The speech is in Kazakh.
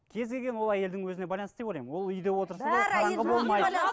кез келген ол әйелдің өзіне байланысты деп ойлаймын ол үйде отырса